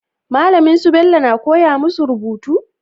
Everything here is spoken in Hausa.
Malamin su Bello na koya musu rubutu?